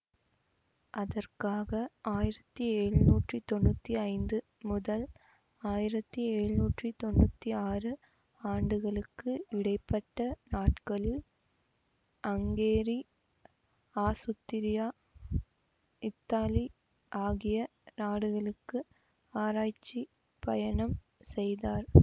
அதற்காக ஆயிரத்தி எழுநூற்றி தொன்னூத்தி ஐந்து முதல் ஆயிரத்தி எழுநூற்றி தொன்னூத்தி ஆறு ஆண்டுகளுக்கு இடை பட்ட நாட்களில் அங்கேரி ஆசுத்திரியா இத்தாலி ஆகிய நாடுகளுக்கு ஆராய்ச்சி பயணம் செய்தார்